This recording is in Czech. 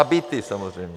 A byty samozřejmě.